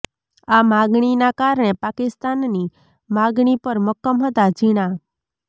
આ માગણીના કારણે પાકિસ્તાનની માગણી પર મક્કમ હતાં ઝીણા